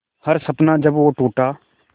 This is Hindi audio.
हर सपना जब वो टूटा